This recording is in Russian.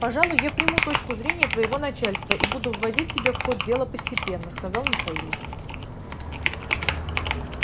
пожалуй я приму точку зрения твоего начальства и буду вводить тебя в ход дела постепенно сказал михаил